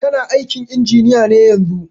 Tana aikin injiniya ne yanzun.